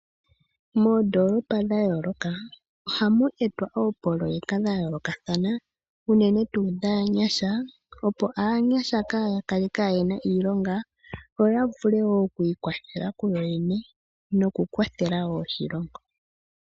Moondolopa dha yooloka ohamu etwa oopoloyeka dha yoolokathana unene tuu dhaanyasha opo aanyasha kaya kale kayena iilonga yo yavule oku ikwathela ku yoyene noku kwathela woo oshilongo.